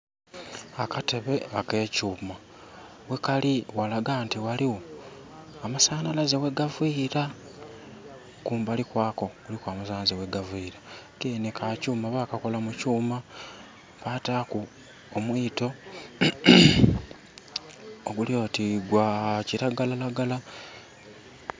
Akatebe akekyuma ghekali ghalaga nti ghaligho amasanhalaze ghegavila kumbali kwako kuliku amasanhalaze ghgavira, kenhe kakyuma bakakola mu kyuma bataaku omuito oguli oti gwakiragalalagala.